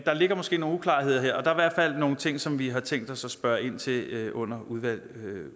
der ligger måske nogle uklarheder her der er fald nogle ting som vi har tænkt os at spørge ind til under